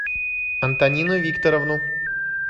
антонину викторовну